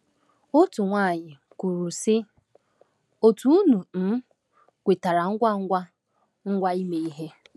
Otu nwaanyị kwuru, sị: “Otu unu um kwetara ngwa ngwa ngwa ime ihe!”